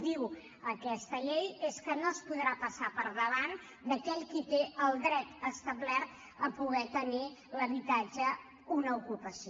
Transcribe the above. diu aquesta llei que no podrà passar al davant d’aquell qui té el dret establert a poder tenir l’habitatge una ocupació